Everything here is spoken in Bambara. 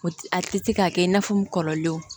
O ti a ti se ka kɛ i n'a fɔ n kɔrɔlen